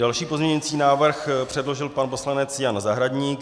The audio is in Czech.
Další pozměňující návrh předložil pan poslanec Jan Zahradník.